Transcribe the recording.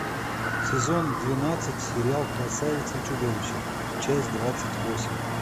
сезон двенадцать сериал красавица и чудовище часть двадцать восемь